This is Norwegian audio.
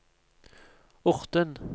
Orten